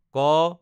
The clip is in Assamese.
ক